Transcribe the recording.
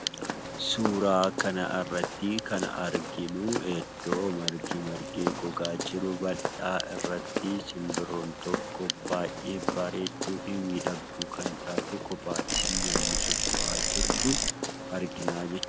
Suuraa kana irratti kan arginu, iddoo margi margee gogaa jiru irratti simbirroon tokko baay'ee bareedduu fi miidhagduu kan taate kophaa ishee yemmuu socho'aa jirtu argina jechuudha.